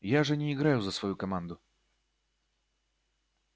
я же не играю за свою команду